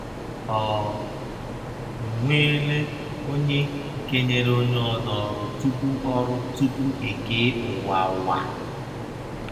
Ọ nweela ọnye kenyere ọnye ọzọ ọrụ tụpụ ọrụ tụpụ e kee ụwa wa.